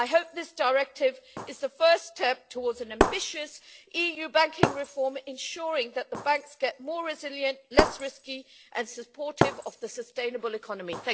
I hope this directive is a first step towards an ambitious EU banking reform, ensuring that the banks become more resilient, less risky and supportive of the sustainable economy.